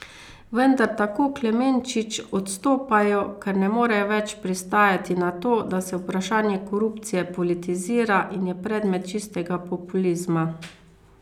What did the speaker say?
Vendar, tako Klemenčič, odstopajo, ker ne morejo več pristajati na to, da se vprašanje korupcije politizira in je predmet čistega populizma.